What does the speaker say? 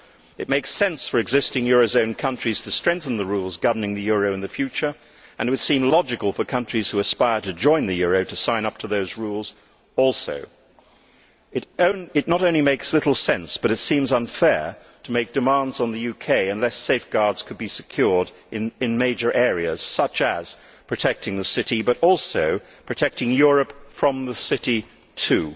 It makes sense for existing eurozone countries to strengthen the rules governing the euro in the future and it would seem logical for countries who aspire to join the euro to sign up to those rules also. It not only makes little sense but it seems unfair to make demands on the UK unless safeguards could be secured in major areas such as protecting the City, but also protecting Europe from the City too.